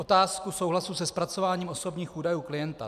Otázka souhlasu se zpracováním osobních údajů klienta.